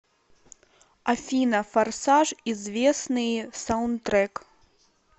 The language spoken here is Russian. афина форсаж известныи саунтрек